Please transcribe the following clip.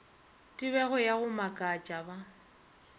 tebego ya go makatša ba